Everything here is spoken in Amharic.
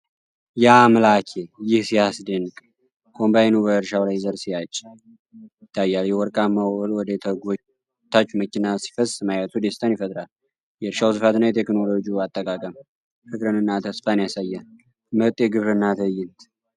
ያአምላኬ! ይህ ሲያስደንቅ! ኮምባይኑ በእርሻው ላይ ዘር ሲያጭድ ይታያል። የወርቅማው እህል ወደ ተጎታች መኪና ሲፈስ ማየቱ ደስታን ይፈጥራል። የእርሻው ስፋት እና የቴክኖሎጂው አጠቃቀም ፍቅርንና ተስፋን ያሳያል። ምርጥ የግብርና ትዕይንት!